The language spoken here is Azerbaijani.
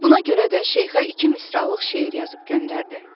Buna görə də şeyxə iki misralıq şeir yazıb göndərdi.